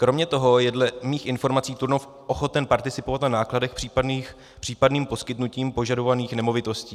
Kromě toho je dle mých informací Turnov ochoten participovat na nákladech případným poskytnutím požadovaných nemovitostí.